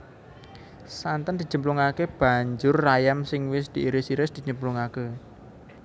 Santen dicemplungake banjur ayam sing wis diiris iris dicemplungake